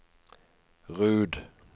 Rud